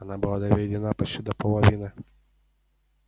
она была доведена почти до половины